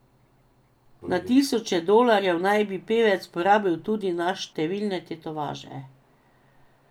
Na tisoče dolarjev naj bi pevec porabil tudi na številne tetovaže.